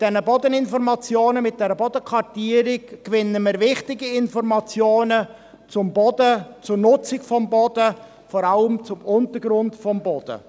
Mit diesen Bodeninformationen gewinnen wir wichtige Informationen zum Boden, zur Nutzung des Bodens und vor allem zum Untergrund des Bodens.